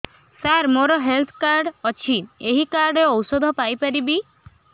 ସାର ମୋର health card ଅଛି ଏହି କାର୍ଡ ରେ ଔଷଧ ପାଇପାରିବି